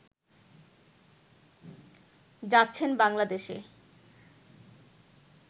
যাচ্ছেন বাংলাদেশে